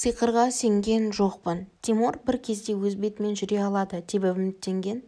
сиқырға сенген жоқпын тимур бір кезде өз бетімен жүре алады деп үміттенген